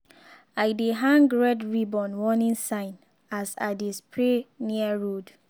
i dey hang red ribbon warning sign as i dey spray near road.